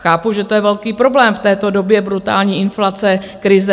Chápu, že to je velký problém v této době brutální inflace, krize.